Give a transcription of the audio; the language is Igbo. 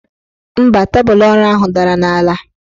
Mba, tebụl ọrụ ahụ dara n' ala.